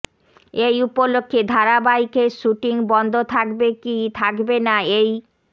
এই উপলক্ষে ধারাবাহিকের শুটিং বন্ধ থাকবে কি থাকবে না এই